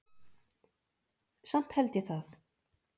Samt held ég það.